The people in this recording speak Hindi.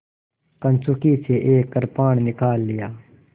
कंचुकी से एक कृपाण निकाल लिया